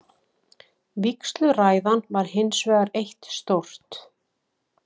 Vígsluræðan var hinsvegar eitt stórt?